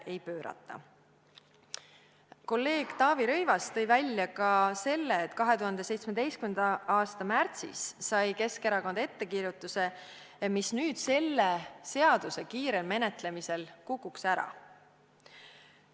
Kolleeg Taavi Rõivas tõi välja ka selle, et 2017. aasta märtsis sai Keskerakond ettekirjutuse, mis nüüd selle seaduse kiire vastuvõtmise korral kukuks ära.